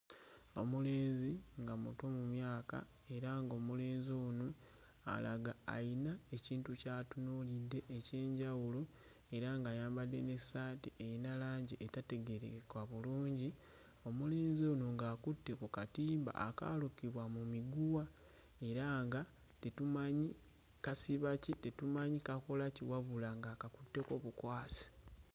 Omulenzi nga muto mu myaka era ng'omulenzi ono alaga ayina ekintu ky'atunuulidde eky'enjawulo, era ng'ayambadde n'essaati eyina langi etategeerekeka bulungi, omulenzi ono ng'akutte ku katimba akaalukibwa mu miguwa era nga tetumanyi kasiba ki, tetumanyi kakola ki wabula ng'akatutteko bukwasi.